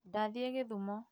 Ndathiĩ gĩthumo